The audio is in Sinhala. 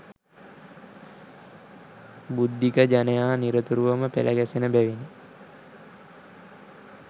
බුද්ධික ජනයා නිරතුරුවම පෙළගැසෙන බැවිනි